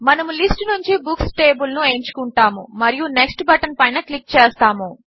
మనము లిస్ట్ నుంచి books table ను ఎంచుకున్టాము మరియు నెక్స్ట్ బటన్ పైన క్లిక్ చేస్తాము